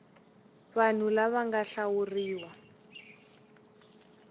vanhu lava va nga hlawuriwa